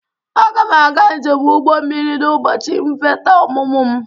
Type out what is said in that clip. Aga m aga njem ụgbọ mmiri n'ụbọchị nvheta ọmụmụ m.